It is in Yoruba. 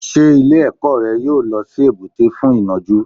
Ṣé ilé ẹ̀kọ́ rẹ yóò lọ sí èbúté fún ìnajú.